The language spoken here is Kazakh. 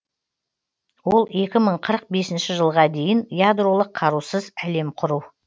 ол екі мың қырық бесінші жылға дейін ядролық қарусыз әлем құру